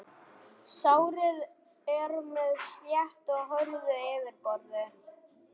Sárið er með sléttu og hörðu yfirborði.